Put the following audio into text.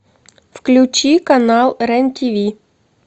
включи канал рен тв